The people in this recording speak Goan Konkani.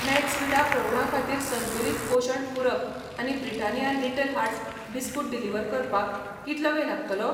मैक्सविडा प्रौढां खातीर संतुलित पोशण पूरक आनी Britannia little hearts biscuit deliver करपाक कितलो वेळ लागतलो ?